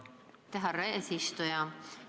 Aitäh, härra eesistuja!